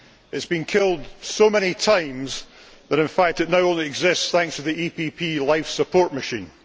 It has been killed so many times that in fact it now only exists thanks to the EPP life support machine.